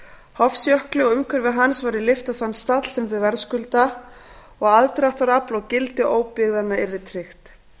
hofsjökli og umhverfi hans væri lyft á þann stall sem þau verðskulda og aðdráttarafl og gildi óbyggðanna yrði tryggt